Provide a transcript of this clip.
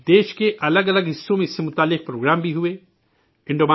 ملک کے مختلف حصوں میں اس سلسلے میں پروگرام بھی منعقد ہوئے